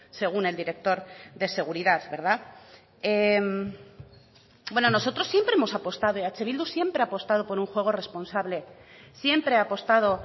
según el director de seguridad verdad bueno nosotros siempre hemos apostado eh bildu siempre ha apostado por un juego responsable siempre ha apostado